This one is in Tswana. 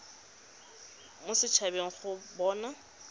mo set habeng go bona